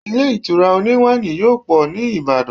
ilé ìtura oni wani yóò pọ ni ibadan